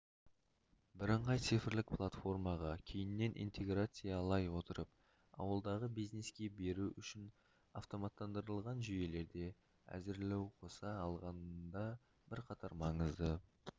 бірыңғай цифрлық платформаға кейіннен интеграциялай отырып ауылдағы бизнеске беру үшін автоматтандырылған жүйелерді әзірлеуқоса алғандағыбірқатар маңызды